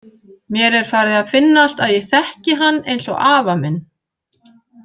Mér er farið að finnast að ég þekki hann eins og afa minn.